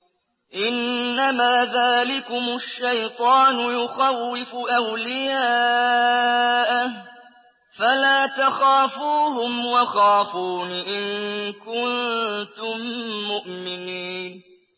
إِنَّمَا ذَٰلِكُمُ الشَّيْطَانُ يُخَوِّفُ أَوْلِيَاءَهُ فَلَا تَخَافُوهُمْ وَخَافُونِ إِن كُنتُم مُّؤْمِنِينَ